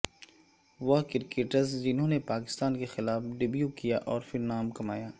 وہ کرکٹرز جنھوں نے پاکستان کے خلاف ڈیبیو کیا اور پھر نام کمایا